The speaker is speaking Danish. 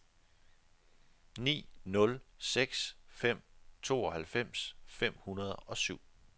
ni nul seks fem tooghalvfems fem hundrede og syv